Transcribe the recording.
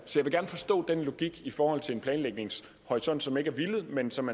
gerne forstå den logik i forhold til en planlægningshorisont som ikke er villet men som